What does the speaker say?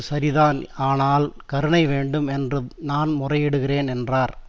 சரிதான் ஆனால் கருணை வேண்டும் என்று நான் முறையிடுகிறேன் என்றார்